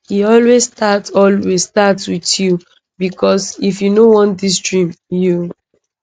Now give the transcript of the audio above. e always start always start with you becos if you no want dis dream you